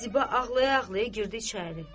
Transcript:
Ziba ağlaya-ağlaya girdi içəri.